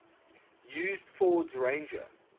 used ford's ranger